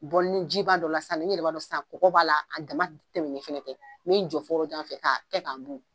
jiba dɔ la sisan i yɛrɛ b'a dɔn sisan kɔgɔ b'a la a dama tɛmɛnen fana tɛ min jɔ fo yɔrɔjan fɛ k'a kɛ k'a mun